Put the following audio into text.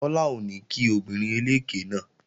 Tọ́lá ò ní kí obìnrin eléké náà